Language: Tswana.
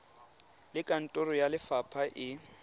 le kantoro ya lefapha e